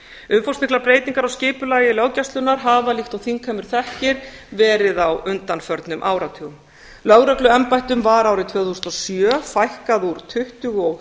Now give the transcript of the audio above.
umfangsmiklar breytingar á skipulagi löggæslunnar hafa líkt og þingheimur þekkir verið á undanförnum áratugum lögregluembættum var árið tvö þúsund og sjö fækkað úr tuttugu og